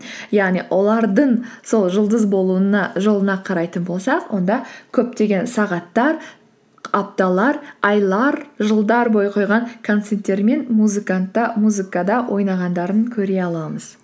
яғни олардың сол жұлдыз болуына жолына қарайтын болсақ онда көптеген сағаттар апталар айлар жылдар бойы қойған концерттері мен музыкада ойнағандарын көре аламыз